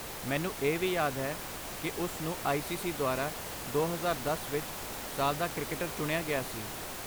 ਮੈਨੂੰ ਇਹ ਵੀ ਯਾਦ ਹੈ ਕਿ ਉਸ ਨੂੰ ਆਈ ਸੀ ਸੀ ਦੁਆਰਾ ਦੋ ਹਜ਼ਾਰ ਦਸ ਵਿੱਚ 'ਸਾਲ ਦਾ ਕ੍ਰਿਕਟਰ' ਚੁਣਿਆ ਗਿਆ ਸੀ